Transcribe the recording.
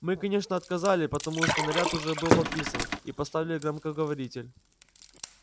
мы конечно отказали потому что наряд уже был подписан и поставили громкоговоритель